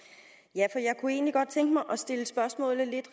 jeg kunne egentlig godt tænke mig